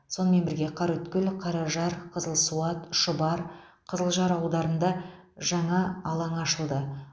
сонымен бірге қараөткел қаражар қызылсуат шұбар қызылжар аударында жаңа алаңы ашылды